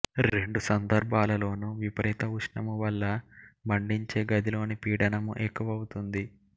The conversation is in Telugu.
రెండు సందర్భాలలోను విపరీత ఉష్ణము వల్ల మండించే గదిలోని పీడనము ఎక్కువవుతుంది